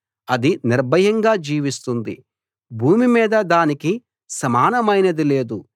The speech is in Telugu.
అది నిర్భయంగా జీవిస్తుంది భూమి మీద దానికి సమానమైనది లేదు